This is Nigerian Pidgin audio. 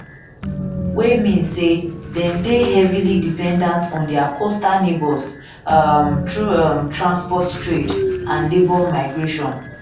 wey mean say dem dey heavily dependant on dia coastal neighbours um through um transport trade and labour migration migration